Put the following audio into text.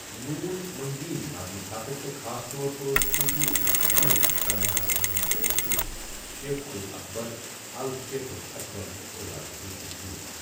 ن محی الدین مرنہٕ پتہٕ تہٕ خاص طور پٲٹھ صوفی ازمک عمل کرن والن مَنٛز اوس سُہ شیخ ال اکبر الشیخ الأكبر کہٕ اعزاز سٔتؠ مشہوٗر۔